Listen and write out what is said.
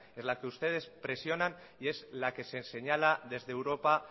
es la que ustedes presionan y es la que se señala desde europa